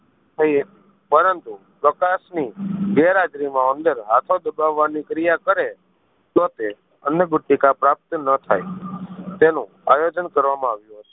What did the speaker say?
કરે પરંતુ પ્રકાશ ની ગેરહાજરી માં ઉંદર હાથો દબાવાની ક્રિયા કરે તો તે અન્નગુટિકા પ્રાપ્ત ન થાય તેનું આયોજન કરવામાં આવ્યું હતું